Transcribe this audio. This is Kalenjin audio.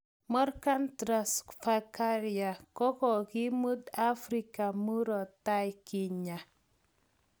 Morgan Tsvangarai ko kakimut afrika muratai kinyag